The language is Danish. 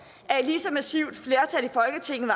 at et lige så massivt flertal i folketinget